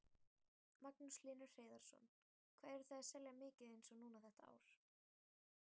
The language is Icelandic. Magnús Hlynur Hreiðarsson: Hvað eruð þið að selja mikið eins og núna þetta ár?